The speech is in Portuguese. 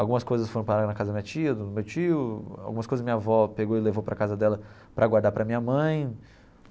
Algumas coisas foram parar na casa da minha tia, do meu tio, algumas coisas minha avó pegou e levou para a casa dela para guardar para a minha mãe.